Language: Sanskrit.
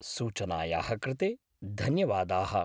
सूचनायाः कृते धन्यवादाः।